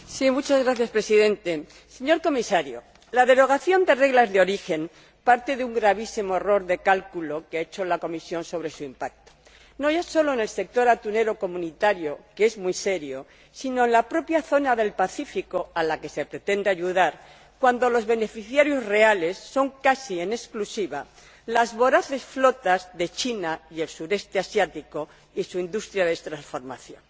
Señor Presidente, señor Comisario, la exención a las normas de origen parte de un gravísimo error de cálculo que ha hecho la Comisión sobre su impacto, no solo en el sector atunero comunitario, que es muy serio, sino en la propia zona del Pacífico ―a la que se pretende ayudar―, cuando los beneficiarios reales son casi exclusivamente las voraces flotas de China y el Sudeste Asiático y su industria de transformación.